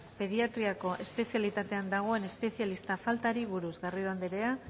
pediatriako espezialitatean dagoen espezialista faltari buruz garrido anderea